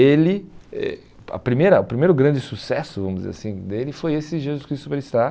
Ele... eh a primeira O primeiro grande sucesso, vamos dizer assim, dele foi esse Jesus Cristo Superstar.